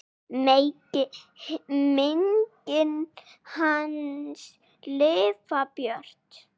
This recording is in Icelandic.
Megi minning hans lifa björt.